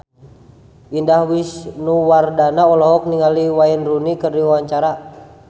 Indah Wisnuwardana olohok ningali Wayne Rooney keur diwawancara